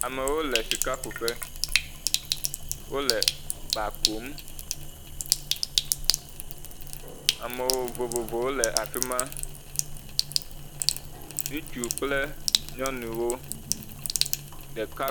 Amewo le sikakuƒe, wole ba kum, ame vovovowo le afi ma, ŋutsu kple nyɔnuwo. Ɖeka…